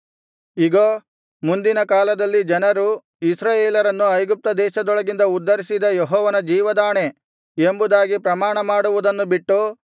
ಇಗೋ ಮುಂದಿನ ಕಾಲದಲ್ಲಿ ಜನರು ಇಸ್ರಾಯೇಲರನ್ನು ಐಗುಪ್ತದೇಶದೊಳಗಿಂದ ಉದ್ಧರಿಸಿದ ಯೆಹೋವನ ಜೀವದಾಣೆ ಎಂಬುದಾಗಿ ಪ್ರಮಾಣಮಾಡುವುದನ್ನು ಬಿಟ್ಟು